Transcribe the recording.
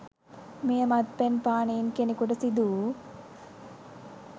මෙය, මත්පැන් පානයෙන් කෙනකුට සිදු වූ